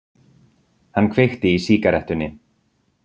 Hann kveikti í sígarettunni.